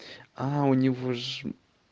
а у него ж